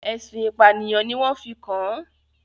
ẹ̀sùn ìpànìyàn ni wọ́n fi kàn án.